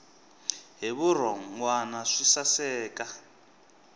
hi vurhon wana swi saseka